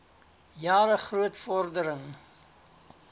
jare groot vordering